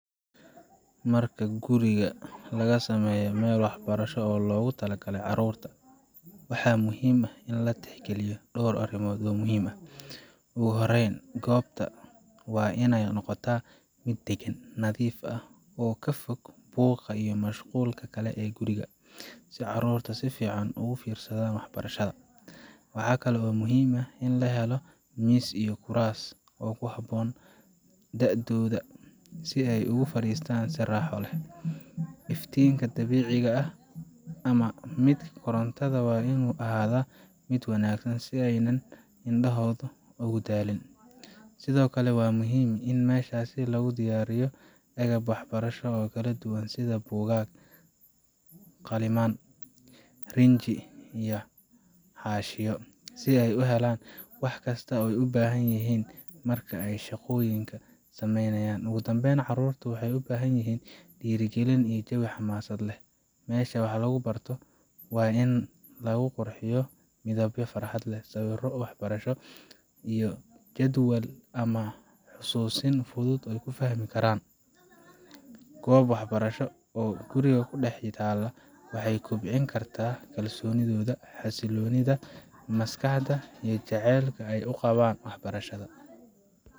Marka guriga laga sameynayo meel waxbarasho oo loogu talagalay carruurta, waxaa muhiim ah in la tixgeliyo dhowr arrimood oo muhiim ah. Ugu horreyn, goobta waa in ay noqotaa mid deggan, nadiif ah, oo ka fog buuqa iyo mashquulka kale ee guriga, si carruurtu si fiican ugu fiirsadaan waxbarashada. Waxaa kaloo muhiim ah in la helo miis iyo kuraas ku habboon da’dooda, si ay ugu fariistaan si raaxo leh. Iftiinka dabiiciga ah ama midka korontada waa inuu ahaadaa mid wanaagsan si aanay indhahoodu ugu daalin. Sidoo kale, waa muhiim in meeshaas lagu diyaariyo agab waxbarasho oo kala duwan sida buugaag, qalimaan, rinji, iyo xaashiyo si ay u helaan wax kasta oo ay u baahan yihiin marka ay shaqooyinka samaynayaan. Ugu dambayn, carruurtu waxay u baahan yihiin dhiirrigelin iyo jawi xamaasad leh. Meesha wax lagu barto waa in lagu qurxiyaa midabyo farxad leh, sawirro waxbarasho ah, iyo jadwal ama xusuusin fudud oo ay fahmi karaan. Goob waxbarasho oo guriga ku dhex taalla waxay kobcin kartaa kalsoonidooda, xasiloonida maskaxda, iyo jacaylka ay u qabaan waxbarashada.